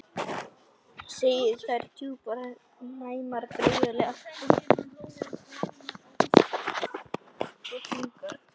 Segir þær djúpar, næmar, draugalegar og þungar.